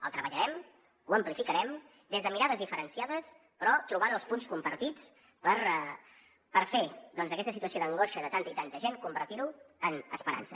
el treballarem ho amplificarem des de mirades diferenciades però trobant els punts compartits per a fer doncs d’aquesta situació d’angoixa de tanta i tanta gent convertir ho en esperança